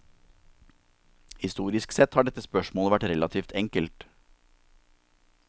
Historisk sett har dette spørsmålet vært relativt enkelt.